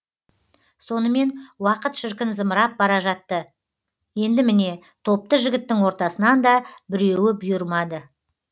сонымен уақыт шіркін зымырап бара жатты енді міне топты жігіттің ортасынан да біреуі бұйырмады